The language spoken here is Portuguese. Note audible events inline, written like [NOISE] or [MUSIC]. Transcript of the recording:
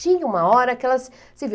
Tinha uma hora que elas se [UNINTELLIGIBLE]